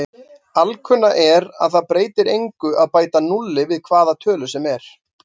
Alkunna er að það breytir engu að bæta núlli við hvaða tölu sem er.